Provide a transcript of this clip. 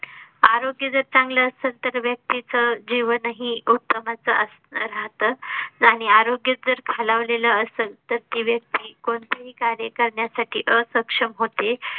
आरोग्य जर चांगलं असेल तर व्यक्तीचं जीवन ही उत्तमच अस राहत आणि आरोग्य जर खालावलेल असल तर ती व्यक्ती कोणतेही कार्य करण्यासाठी असक्षम होते